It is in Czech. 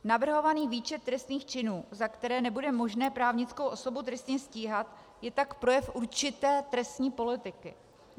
Navrhovaný výčet trestných činů, za které nebude možné právnickou osobu trestně stíhat, je tak projev určité trestní politiky.